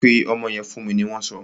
Pe ọmọ yẹn fún mi! ni wọn so.